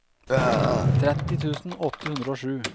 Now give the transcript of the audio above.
tretti tusen åtte hundre og sju